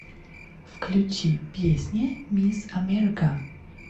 включи песня мисс америка